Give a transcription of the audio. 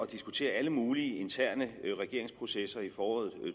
diskutere alle mulige interne regeringsprocesser i foråret